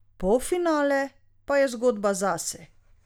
Polfinale pa je zgodba zase.